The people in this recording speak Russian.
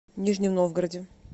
нижнем новгороде